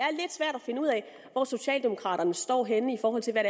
finde ud af hvor socialdemokraterne står henne i forhold til hvad